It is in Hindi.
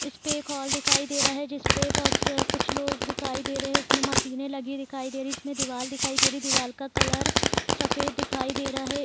इसपे एक हॉल दिखाई दे रहा है जिसपे बहुत स कुछ लोग दिखाई दे रहे है इसमें मशीने लगी दिखाई दे रही है इसमें दीवाल दिखाई दे रही है दीवाल का कलर सफेद दिखाई दे रहा है ।